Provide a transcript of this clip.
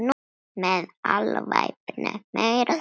Með alvæpni meira að segja!